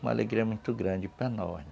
Uma alegria muito grande para nós